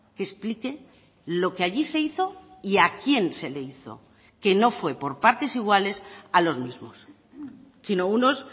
que explique lo que allí se hizo y a quién se le hizo que no fue por partes iguales a los mismos sino unos